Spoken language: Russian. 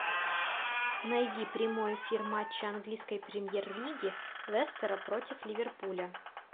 найди прямой эфир матча английской премьер лиги лестера против ливерпуля